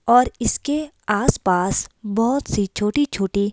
और इसके आसपास बहुत सी छोटी-छोटी--